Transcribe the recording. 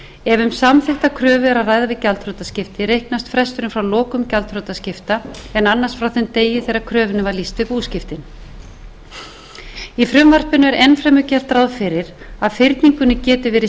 kröfu er um að ræða við gjaldþrotaskipti reiknast fresturinn frá lokun gjaldþrotaskipta en annars frá þeim degi þegar kröfunni var lýst við búskiptin í frumvarpinu er enn fremur gert ráð fyrir að fyrningunni geti verið